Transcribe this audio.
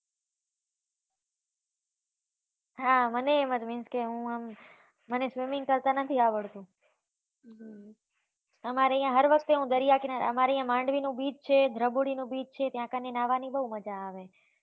હા મનેય એમ જ means કે, હું આમ મને swimming કરતા નથી આવડતુ અમારે ત્યાં હર વખતે હું દરિયાકિનારે અમારે ત્યા માંડવીનો beach છે, દ્રગુડીનો beach છે ત્યાં કને ન્હાવાની બહુ મજા આવે